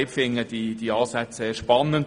Ich finde die Ansätze sehr spannend.